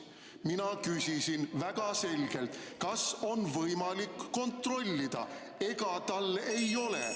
Mina küsisin väga selgelt, kas on võimalik kontrollida, ega tal ei ole ...